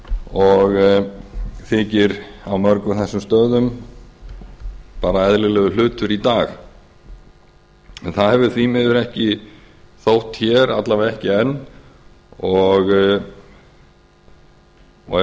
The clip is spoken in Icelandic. og þykir á mörgum þessum stöðum bara eðlilegur hlutur í dag en það hefur því miður ekki þótt hér alla vega ekki enn er